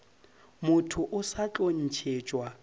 motho o sa tlo ntšhetšwa